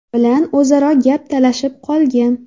bilan o‘zaro gap talashib qolgan.